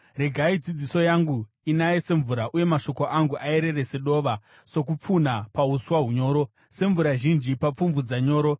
Regai dzidziso yangu inaye semvura uye mashoko angu ayerere sedova, sokupfunha pauswa hunyoro, semvura zhinji papfumvudza nyoro.